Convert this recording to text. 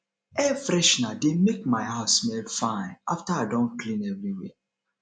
air freshener dey make my house smell fine after i don clean everywhere